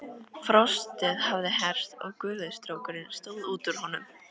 Frostið hafði hert og gufustrókurinn stóð út úr honum.